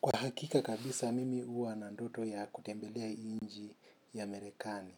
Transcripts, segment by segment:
Kwa hakika kabisa mimi uwa na ndoto ya kutembelea inji ya merekani.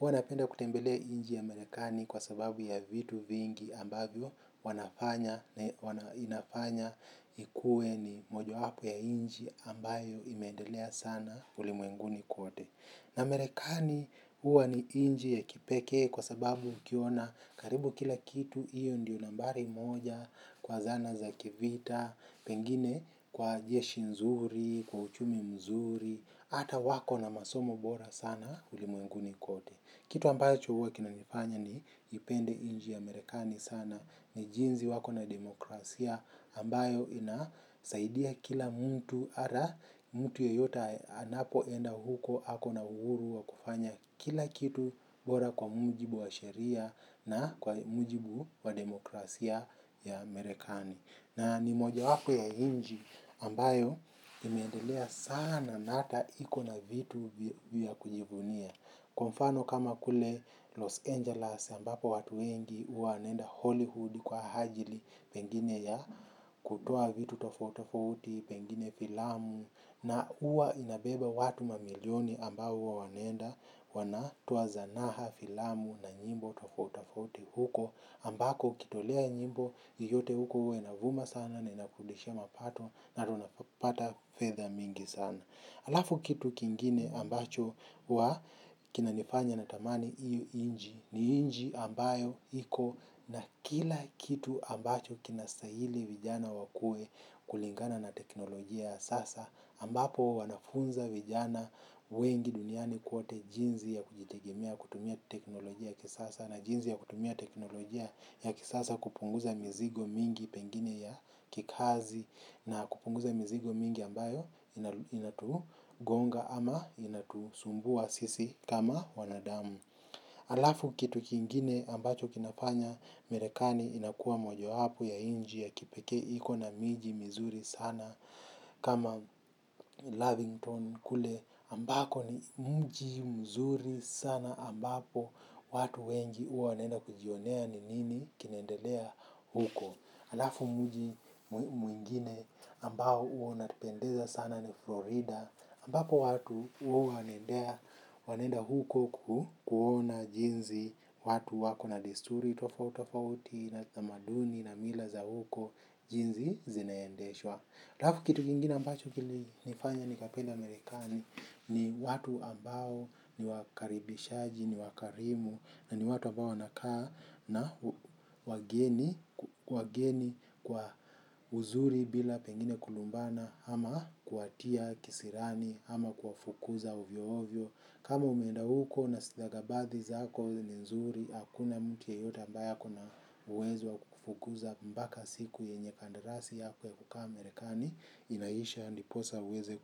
Uwa napenda kutembelea inji ya merekani kwa sababu ya vitu vingi ambavyo wanafanya na inafanya ikue ni moja hapo ya inji ambayo imendelea sana ulimuenguni kuote. Na merekani uwa ni inji ya kipeke kwa sababu ukiona karibu kila kitu. Iyo ndiyo nambari moja kwa zana za kivita, pengine kwa jeshi nzuri, kwa uchumi mzuri. Ata wako na masomo bora sana ulimuenguni kote. Kitu ambacho huwa kinanifanya ni ipende inji ya merekani sana. Ni jinzi wako na demokrasia ambayo inasaidia kila mtu. Ara mtu yeyote anapoenda huko hako na uru wa kufanya kila kitu bora kwa mujibu wa sheria na kwa mujibu wa demokrasia ya merekani. Na ni mojawako ya hinji ambayo imeendelea sana na ata iko na vitu vya kujivunia. Kwa mfano kama kule Los Angeles ambapo watu wengi uwa wanaenda Hollywood kwa hajili pengine ya kutoa vitu tofautofauti, pengine filamu na uwa inabeba watu mamilioni ambao uwa wanaenda wanatoa zanaha filamu na nyimbo tofautofauti huko ambako ukitolea nyimbo yoyote huko uwa inavuma sana na inakurudishia mapato na ata unapata fedha mingi sana alafu kitu kingine ambacho uwa kinanifanya natamani iyo inji ni inji ambayo iko na kila kitu ambacho kinastahili vijana wakue kulingana na teknolojia ya sasa ambapo wanafunza vijana wengi duniani kwote jinzi ya kujitegemea kutumia teknolojia ya kisasa na jinzi ya kutumia teknolojia ya kisasa kupunguza mizigo mingi pengine ya kikazi na kupunguza mizigo mingi ambayo inatungonga ama inatusumbua sisi kama wanadamu. Alafu kitu kingine ambacho kinafanya merekani inakua moja wapo ya inji ya kipekee iko na miji mizuri sana. Kama Lavington kule ambako ni mji mzuri sana ambapo watu wengi uwa wanaenda kujionea ni nini kinaendelea huko. Halafu mji mwingine ambao huwa napendezwa nao sana ni Florida, ambapo watu huwa wanaenda huko kuona jinsi watu walivyo na desturi tofauti tofauti, na tamaduni na mila za huko jinsi zinavyoendeshwa. Halafu kitu kingine ambacho kilinifanya nikapenda Amerika ni watu ambao ni wakaribishaji, ni wakarimu, na ni watu ambao nakaa nao. Wageni kwa uzuri bila pengine kulumbana ama kuwatia kisirani ama kuwafukuza hivyo hivyo. Kama umeenda huko na stakabadhi zako ni nzuri, hakuna mtu yeyote ambaye akona uwezo kukufukuza hadi siku ambayo kandarasi yako ya kukaa inaisha, ndipo uweze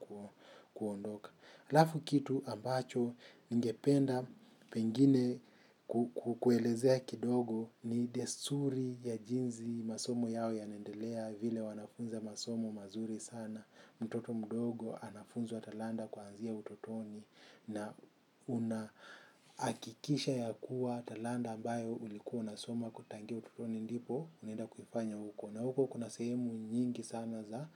kuondoka. Alafu kitu ambacho ningependa pengine kukuelezea kidogo, ni desturi ya jinsi masomo yao yanaendelea, vile wanavyofundisha masomo mazuri sana, mtoto mdogo anafunzwa talanta kuanzia utotoni na unahakikisha kwamba talanta ambayo ulikuwa unasoma tangu utotoni, ndipo unaenda kufanya huko, na huko kuna sehemu nyingi sana za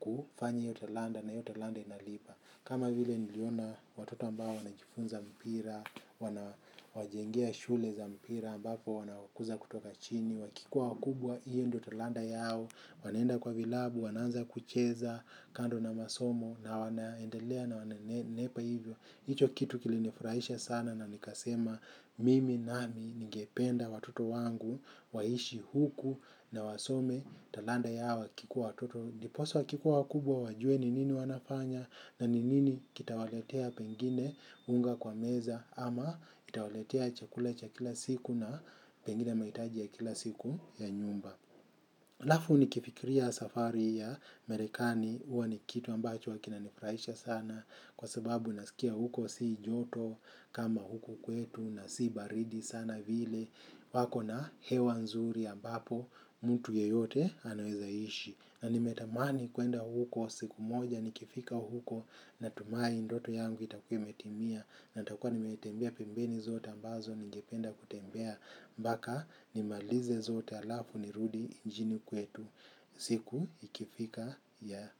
kufanya kila talanta, na kila talanta inalipa. Kama vile niliona watoto ambao wanajifunza mpira, wanawajengea shule za mpira ambapo wanakuzwa kutoka chini, wakiwa wakubwa hiyo ndiyo talanta yao, wanaenda kwenye vilabu, wanaanza kucheza kando na masomo na wanaendelea na wananenepa hivyo. Hicho kitu kilichonifurahisha sana, nikasema mimi nami ningependa watoto wangu waishi huku na wasome talanta zao wakiwa watoto. Ndiposa wakikuwa wakubwa wajue ni nini wanafanya na ni nini kitawaletea pengine unga mezani, ama kitawaletea chakula cha kila siku na pengine mahitaji ya kila siku ya nyumba. Halafu nikifikiria safari ya Marekani, huwa ni kitu ambacho kinanifurahisha sana kwa sababu nasikia huko si joto. Kama huko kwetu, na si baridi sana, vile wakona hewa nzuri ambapo mtu yeyote anaweza kuishi. Na nimetamani kwenda huko siku moja. Nikifika huko, natumaini ndoto yangu itakuwa imetimia na nitakuwa nimetembea pembe zote ambazo nilipenda kutembea mpaka nimalize zote, halafu nirudi nchini kwetu. Siku ikifika ya.